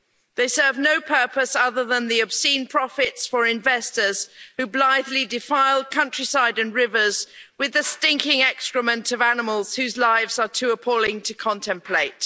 They serve no purpose other than the obscene profits for investors, who blithely defile countryside and rivers with the stinking excrement of animals whose lives are too appalling to contemplate.